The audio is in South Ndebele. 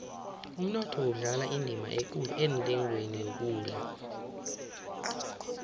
umnotho udlala indima ekulu entengweni yokudla